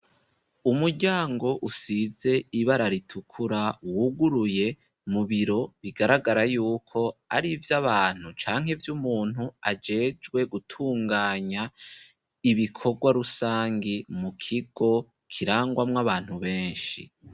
Umuryango, usize, ibara ritukura, wuguruye, mu biro, bigaragara yuko, ari ivy' Abantu canke ivy'umuntu ajejwe gutunganya ibikorwa rusangi, mu kigo kirangwamw' Abantu benshi.